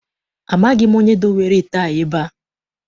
Amaghị m onye dowere ite a ebe a.